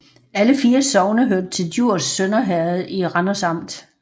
Alle 4 sogne hørte til Djurs Sønder Herred i Randers Amt